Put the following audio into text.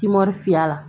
Kimɔri fiyɛ la